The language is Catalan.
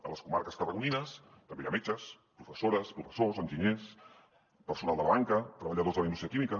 a les comarques tarragonines també hi ha metges professores professors enginyers personal de la banca treballadors de la indústria química